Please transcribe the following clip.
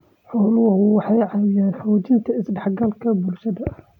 Xooluhu waxay caawiyaan xoojinta is-dhexgalka bulshada.